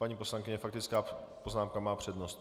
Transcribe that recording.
Paní poslankyně, faktická poznámka má přednost.